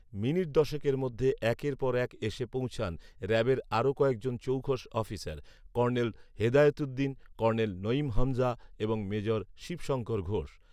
minute দশেকের মধ্যে একের পর এক এসে পোঁছান র‌্যাবের আরো কয়েকজন চৌখস officer, colonel Hedayetuddin, colonel Naeem Hamza এবং মেজর শিবশংকর ঘোষ